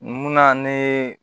Mun na ne ye